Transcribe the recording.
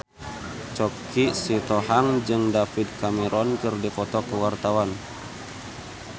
Choky Sitohang jeung David Cameron keur dipoto ku wartawan